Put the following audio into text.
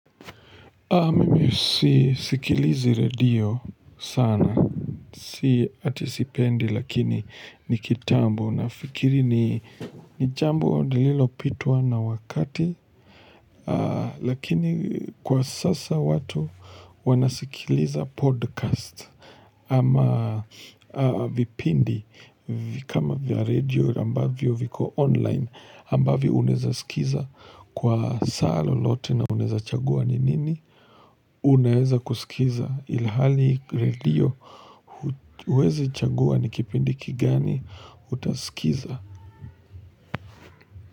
Mimi sikilizi radio sana, si atisipendi lakini nikitambo, nafikiri ni jambo lililopitwa na wakati, lakini kwa sasa watu wanasikiliza podcast ama vipindi kama vya radio ambavyo viko online ambavyo uneza sikiza kwa saa lo lote na uneza chagua ninini. Unaeza kusikiza ilahali redio huwezi chagua nikipindiki kigani utasikiza.